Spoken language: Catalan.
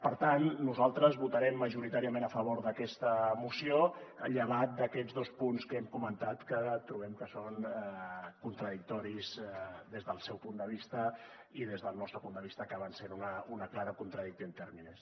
per tant nosaltres votarem majoritàriament a favor d’aquesta moció llevat d’aquests dos punts que hem comentat que trobem que són contradictoris des del seu punt de vista i des del nostre punt de vista acaben sent una clara contradictio in terminis